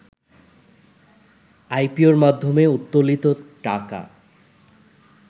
আইপিওর মাধ্যমে উত্তোলিত টাকা